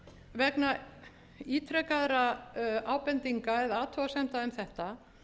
vegna ítrekaðra ábendinga eða athugasemda um þetta